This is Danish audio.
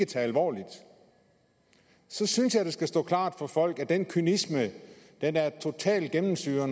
det alvorligt og så synes jeg at det skal stå klart for folk at den kynisme totalt gennemsyrer